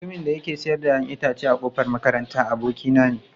Mutumin da yake sayar da 'ya'yan itatuwa a kofar makaranta, abokina ne.